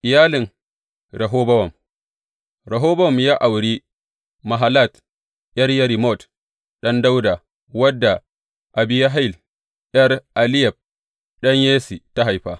Iyalin Rehobowam Rehobowam ya auri Mahalat, ’yar Yerimot ɗan Dawuda wadda Abihayil ’yar Eliyab ɗan Yesse ta haifa.